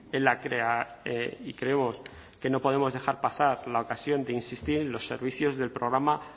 en la y creemos que no podemos dejar pasar la ocasión de insistir en los servicios del programa